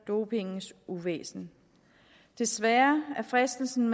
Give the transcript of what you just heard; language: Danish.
dopingens uvæsen desværre er fristelsen